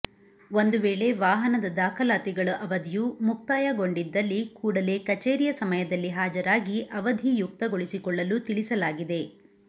ಒಂದು ವೇಳೆ ವಾಹನದ ದಾಖಲಾತಿ ಗಳು ಅವಧಿಯು ಮುಕ್ತಾಯ ಗೊಂಡಿದ್ದಲ್ಲಿ ಕೂಡಲೇ ಕಚೇರಿಯ ಸಮಯದಲ್ಲಿ ಹಾಜರಾಗಿ ಅವಧಿ ಯುಕ್ತಗೊಳಿಸಿಕೊಳ್ಳಲು ತಿಳಿಸಲಾಗಿದೆ